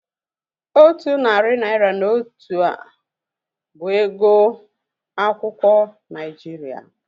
Otu narị naira na otu a bụ ego akwụkwọ Naijiria?